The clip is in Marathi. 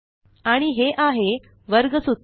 आणि हे आहे वर्ग सूत्र